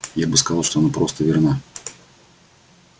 я бы сказал что она просто верна